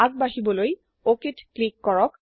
আগ বাঢ়িবলৈ অক ত ক্লিক কৰক